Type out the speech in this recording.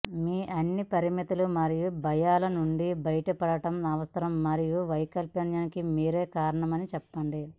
మీ అన్ని పరిమితులు మరియు భయాల నుండి బయటపడటం అవసరం మరియు వైఫల్యానికి మీరే కారణమని చెప్పండి